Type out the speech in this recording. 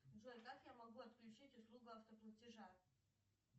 джой как я могу отключить услугу автоплатежа